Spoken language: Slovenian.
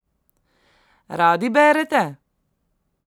Radi berete?